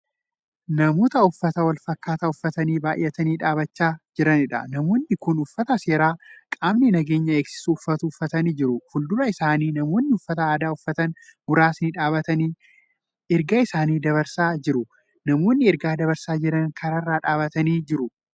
Namoota uffata walfakkaataa uffatanii baay'atanii dhaabachaa jiraniidha. namoonni Kuni uffata seeraa qaamni nageenya eegsisu uffatu uffatanii jiru. fuuldura isaanii namoonni uffata aaddaa uffatan muraasni dhaabatanii ergaa isaanii dabarsaa jiru. namoonni ergaa dabarsaa Jiran karaarra dhaabatanii jiru.